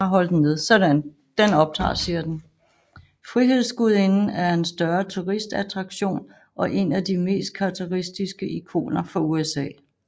Frihedsgudinden er en større turistattraktion og en af de mest karakteristiske ikoner for USA